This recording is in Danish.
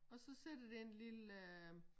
Og så sidder der en lille øh